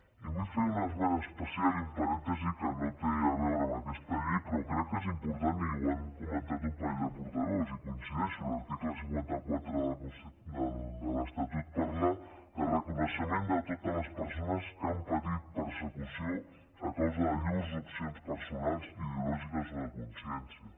i vull fer un esment especial i un parèntesi que no té a veure amb aquesta llei però crec que és important i ho han comentat un parell de portaveus i hi coincideixo l’article cinquanta quatre de l’estatut parla de reconeixement de totes les persones que han patit persecució a causa de llurs opcions personals ideològiques o de consciència